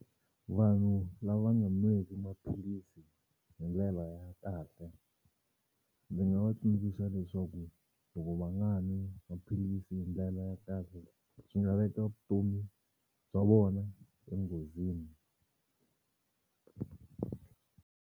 Vanhu lava nga nweki maphilisi hi ndlela ya kahle ndzi nga va tsundzuxa leswaku loko va nga nwi maphilisi hi ndlela ya kahle swi nga veka vutomi bya vona enghozini.